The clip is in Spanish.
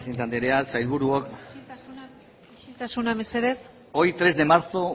presidente andrea sailburuok isiltasuna mesedez hoy tres de marzo